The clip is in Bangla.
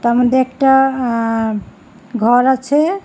এর মদ্যে একটা আঃ ঘর আছে।